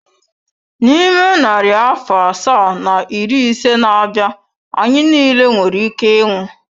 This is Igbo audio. N'ime narị afọ asaa na iri ise na-abịa, anyị niile nwere ike ịnwụ.